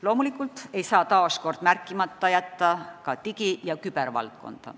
Loomulikult ei saa taas märkimata jätta ka digi- ja kübervaldkonda.